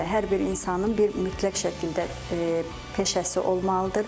Hər bir insanın bir mütləq şəkildə peşəsi olmalıdır.